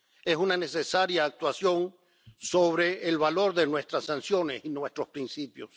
Es una necesaria actuación sobre el valor de nuestras sanciones y nuestros principios.